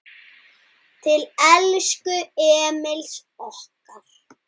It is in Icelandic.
Til elsku Emils okkar.